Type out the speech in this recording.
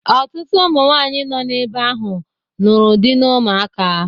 Ọtụtụ ụmụ nwanyị nọ ebe ahụ nụrụ dị n'ụmụaka